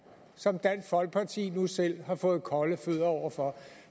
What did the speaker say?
som dansk folkeparti nu selv har fået kolde fødder over for